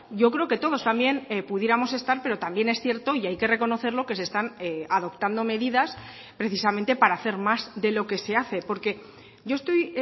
yo creo que todos también pudiéramos estar pero también es cierto y hay que reconocerlo que se están adoptando medidas precisamente para hacer más de lo que se hace porque yo estoy